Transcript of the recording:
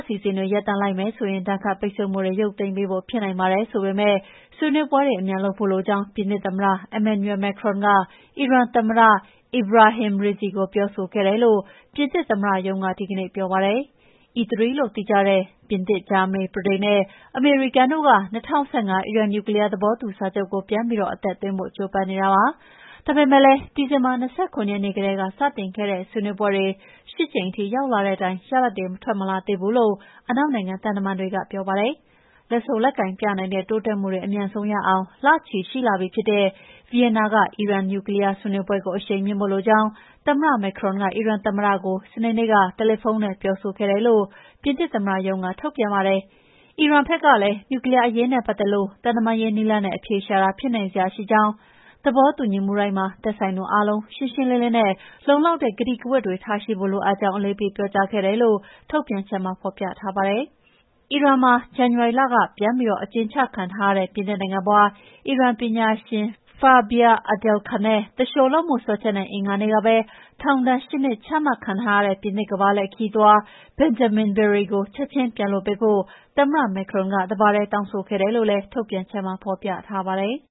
အစီအစဉ်တွေ ရပ်တန့်လိုက်မယ်ဆိုရင် ဒဏ်ခတ်ပိတ်ဆို့မှုတွေ ရုပ်သိမ်းပေးဖို့ ဖြစ်နိုင်ပါတယ် ဆိုပေမယ့် ဆွေးနွေးပွဲတွေ အမြန်လုပ်ဖို့လိုကြောင်း ပြင်သစ်သမ္မတ Emmanuel Macron က အီရန်သမ္မတ Ebrahim Raisi ကို ပြောဆိုခဲ့တယ်လို့ ပြင်သစ်သမ္မတရုံးက ဒီကနေ့ ပြောပါတယ်။ E3 လို့သိကြတဲ့ ပြင်သစ်၊ ဂျာမနီ၊ ဗြိတိန်နဲ့ အမေရိကန်တို့က ၂၀၁၅ အီရန်နျူကလီးယား သဘောတူစာချုပ်ကို ပြန်ပြီးအသက်သွင်းဖို့ ကြိုးပမ်းနေတာပါ။ ဒါပေမယ့်လည်း ဒီဇင်ဘာ ၂၇ ရက်နေ့ကတည်းက စတင်ခဲ့တဲ့ ဆွေးနွေးပွဲတွေ ၈ ကြိမ်ထိ ရောက်လာတဲ့တိုင် ရလဒ်တွေ ထွက်မလာသေးဘူးလို့ အနောက်နိုင်ငံ သံတမန်တွေက ပြောပါတယ်။ လက်ဆုပ်လက်ကိုင်ပြနိုင်တဲ့ တိုးတက်မှုတွေ အမြန်ဆုံးရအောင် လချီရှိလာပြီဖြစ်တဲ့ ဗီယင်နာက အီရန်နျူကလီးယား ဆွေးနွေးပွဲကို အရှိန်မြှင့်ဖို့လိုကြောင်း သမ္မတ Macron က အီရန်သမ္မတကို စနေနေ့က တယ်လီဖုန်းနဲ့ ပြောဆိုခဲ့တယ်လို့ ပြင်သစ်သမ္မတရုံးက ထုတ်ပြန်ပါတယ်။ အီရန်ဘက်ကလည်း နျူကလီးယားအရေးနဲ့ ပတ်သက်လို့ သံတမန်ရေးနည်းလမ်းနဲ့ အဖြေရှာတာ ဖြစ်နိုင်စရာရှိကြောင်း၊ သဘောတူညီမှုတိုင်းမှာ သက်ဆိုင်သူအားလုံး ရှင်းရှင်းလင်းလင်းနဲ့ လုံလောက်တဲ့ ကတိကဝတ်တွေ ထားရှိဖို့လိုအပ်ကြောင်း အလေးပေး ပြောကြားခဲ့တယ်လို့ ထုတ်ပြန်ချက်မှာ ဖော်ပြထားပါတယ်။ အီရန်နိုင်ငံမှာ ဇန်နဝါရီလက ပြန်ပြီး အကျဉ်းချထားတဲ့ ပြင်သစ်နိုင်ငံဖွား အီရန်ပညာရှင် Fariba Adelkhah နဲ့ သူလျှိုလုပ်မှုစွဲချက်နဲ့ အင်္ဂါနေ့ကပဲ ထောင်ဒဏ် ၈ နှစ် ချမှတ်ထားတဲ့ ပြင်သစ်ကမ္ဘာလှည့်ခရီးသွား Benjamin Briere ကို ချက်ချင်းပြန်လွှတ်ပေးဖို့ သမ္မတ Macron က တပါတည်း တောင်းဆိုခဲ့တယ်လို့လည်း ထုတ်ပြန်ချက်မှာ ဖော်ပြထားပါတယ်။